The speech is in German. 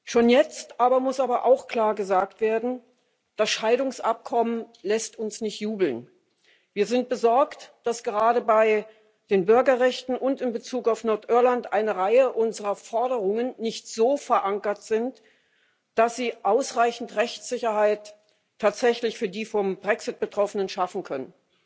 Schon jetzt aber muss auch klar gesagt werden Das Scheidungsabkommen lässt uns nicht jubeln. Wir sind besorgt, dass gerade bei den Bürgerrechten und in Bezug auf Nordirland eine Reihe unserer Forderungen nicht so verankert sind, dass sie tatsächlich ausreichend Rechtssicherheit für die vom Brexit Betroffenen schaffen könnten.